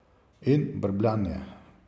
In brbljanje.